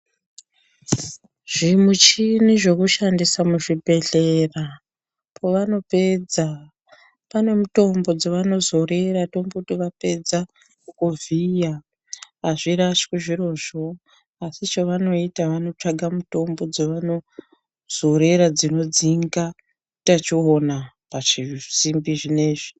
Zvimuchini zvekushandisa muzvibhedhlera povanopedza pane mutombo dzavanozorera tomboti vapedza kukuvhiya azvirashwi zvirozvo asi chavanoita vanotsvaga muthombo dzavanozorera dzinodzinga utachiona pazvisimbi zvineizvi.